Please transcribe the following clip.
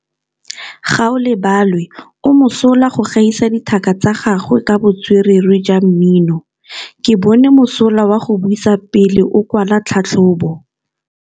Gaolebalwe o mosola go gaisa dithaka tsa gagwe ka botswerere jwa mmino. Ke bone mosola wa go buisa pele o kwala tlhatlhobô.